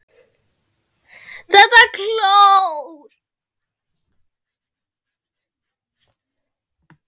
ÞETTA KLÓR!